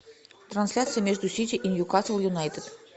трансляция между сити и ньюкасл юнайтед